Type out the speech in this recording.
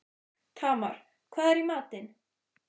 Tamar, hvað er í matinn?